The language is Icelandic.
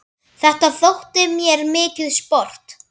Þetta þótti mér mikið sport.